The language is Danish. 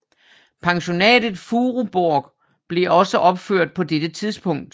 Pensionatet Furuborg blev også opført på dette tidspunkt